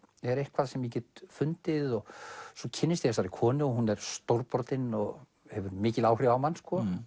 er eitthvað sem ég get fundið svo kynnist ég þessari konu hún er stórbrotin og hefur mikil áhrif á mann